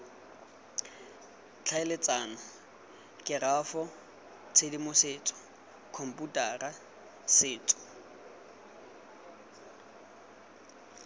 tlhaeletsano kerafo tshedimosetso khomputara setso